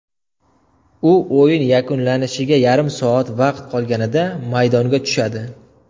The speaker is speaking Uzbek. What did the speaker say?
U o‘yin yakunlanishiga yarim soat vaqt qolganida maydonga tushadi.